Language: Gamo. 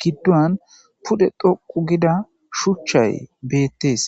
giduwan toqu gidda shuchay bettes.